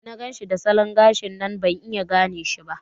Da na ganshi da salon gashin nan ban iya gane shi ba.